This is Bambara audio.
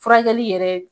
Furakɛli yɛrɛ